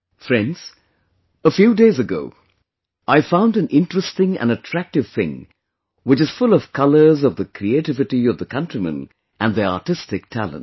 Friends, a few days ago I found an interesting and attractive thing which is full of colours of the creativity of the countrymen and their artistic talent